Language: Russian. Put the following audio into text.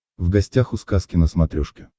в гостях у сказки на смотрешке